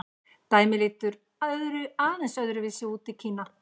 Dæmið lítur aðeins öðru vísi út í Kína.